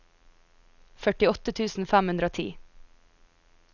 førtiåtte tusen fem hundre og ti